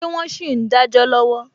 Ṣé wọn sì ń dajọ lọwọ?